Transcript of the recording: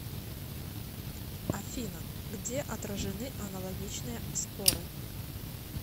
афина где отражены аналогичные споры